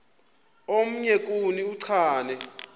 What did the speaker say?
omnye kuni uchane